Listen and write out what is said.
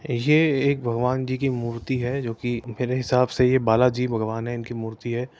ये एक भगवान जी की मूर्ति है जोकि मेरे हिसाब से ये बालाजी भगवान है इनकी मूर्ति है।